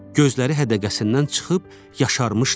Gözləri hədəqəsindən çıxıb yaşarmışdı.